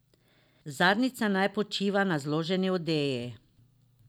Zadnjica naj počiva na zloženi odeji.